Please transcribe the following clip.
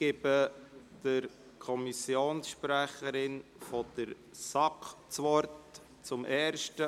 Die Kommissionssprecherin der SAK hat das Wort.